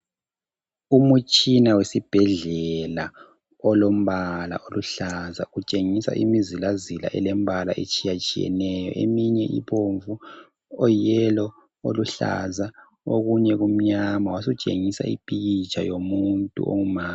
Umtshina wesibhedlela olombala oluhlaza utshengisa imizilazila elembala etshiyatshiyeneyo. Eminye ibomvu ,oyiyelo, oluhlaza okunye kumnyama. Wasutshengisa ipikitsha yomuntu ongumama